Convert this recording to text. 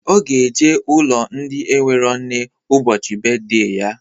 Ọ ga-eje ụlọ ndị enwero nne ụbọchị beedey ya